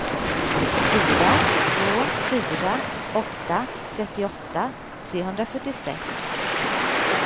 fyra två fyra åtta trettioåtta trehundrafyrtiosex